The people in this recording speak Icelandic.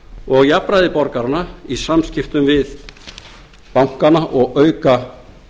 og jafnræði borgaranna í samskiptum við bankana og auka